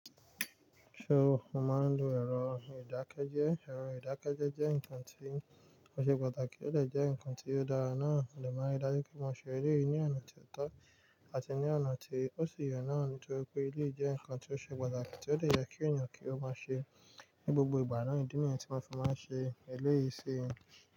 So, mo máa ń lo ẹ̀rọ ìdákẹ́jẹ́. Ẹ̀rọ ìdákẹ́jẹ́ jẹ́ nkan tí ó ṣe pàtàkì, ó de jẹ́ nǹkan tí ó dára náà, mo de ma n rí dájú pé mo ṣe eleyìí ní ọ̀nà tí ó tọ́ àti ní ọ̀nà tí ó sì ye náà nítorí pé eléyii jẹ́ nǹkan tí ó ṣe pàtàkì tí ó dè ye kí ènìyàn kí ó máa ṣe ní gbogbo ìgbà náà. Ìdí nìyẹn tí wọ́n fi máa ń ṣe eléyìí sí i.